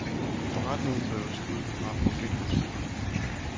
Forretningen drives ud fra profitmotiver.